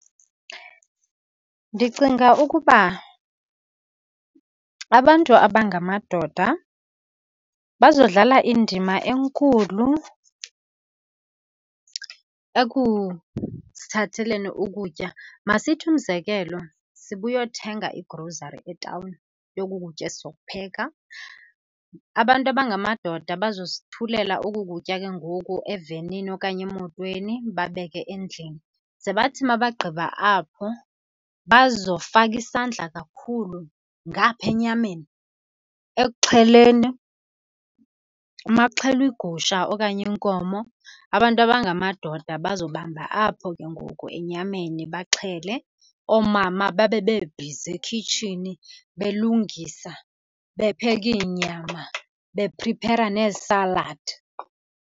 Ndicinga ukuba abantu abangamadoda bazodlala indima enkulu ekusithatheleni ukutya. Masithi umzekelo, sibuyothenga igrosari etawuni yoku kutya esizokupheka, abantu abangamadoda bazosithulela oku kutya ke ngoku evenini okanye emotweni babeke endlini. Ze bathi uma bagqiba apho bazofaka isandla kakhulu ngapha enyameni, ekuxheleni, uma kuxhelwa igusha okanye inkomo abantu abangamadoda bazobamba apho ke ngoku enyameni baxhele. Oomama babe bebhizi ekhitshini belungisa, bepheka iinyama, bephriphera neesaladi.